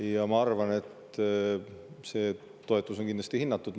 Ja ma arvan, et see toetus on kindlasti hinnatud.